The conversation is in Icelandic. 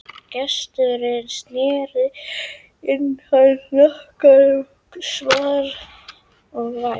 Gesturinn sneri í hana hnakkanum og svaf vært.